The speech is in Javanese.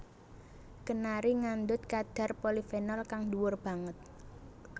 Kenari ngandhut kadhar polifenol kang dhuwur banget